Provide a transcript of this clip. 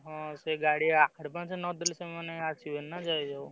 ହଁ ସେ ଗାଡି advance ନ ଦେଲେ ସିଏ ଆସିବେନି ନାଁ ଦେଇଦବ।